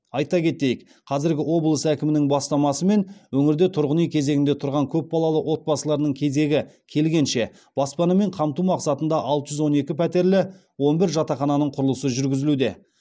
айта кетейік қазіргі облыс әкімінің бастамасымен өңірде тұрғын үй кезегінде тұрған көпбалалы отбасыларының кезегі келгенше баспанамен қамту мақсатында алты жүз он екі пәтерлі он бір жатақхананың құрылысы жүргізілуде